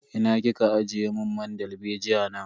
Ina kika ajiye mun man dalbejiya na?